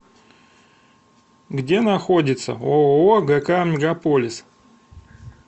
где находится ооо гк мегаполис